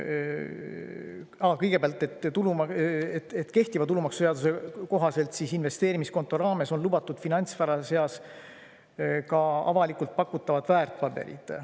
Aa, kõigepealt see, et kehtiva tulumaksuseaduse kohaselt on investeerimiskonto raames lubatud finantsvarade seas ka avalikult pakutavad väärtpaberid.